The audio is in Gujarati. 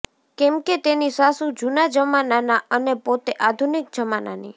કેમ કે તેની સાસુ જૂના જમાના ના અને પોતે આધુનિક જમાના ની